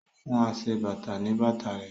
O fún aṣebàtà ní bàtà rẹ̀